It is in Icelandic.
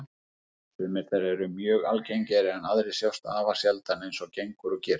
Sumar þeirra eru mjög algengar en aðrar sjást afar sjaldan, eins og gengur og gerist.